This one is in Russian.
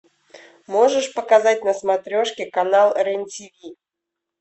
можешь показать на смотрешке канал рен тв